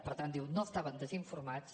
per tant diu no estaven desinformats